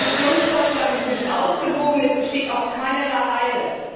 Der Kommissionsvorschlag ist nicht ausgewogen, es besteht auch keinerlei Eile.